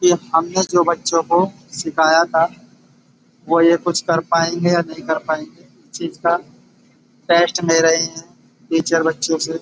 ये हमने जो बच्चों को सिखाया था वो ये कुछ कर पायेंगे या नहीं कर पायेंगे। इस चीज का टेस्ट ले रहे हैं टीचर बच्चों से।